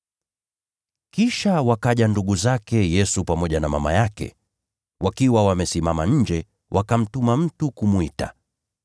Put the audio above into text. Kisha wakaja ndugu zake Yesu pamoja na mama yake. Wakasimama nje, wakamtuma mtu kumwita.